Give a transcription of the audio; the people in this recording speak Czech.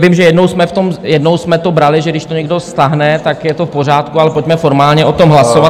Vím, že jednou jsme to brali, že když to někdo stáhne, tak je to v pořádku, ale pojďme formálně o tom hlasovat.